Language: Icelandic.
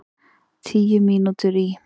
Tíu mínútur í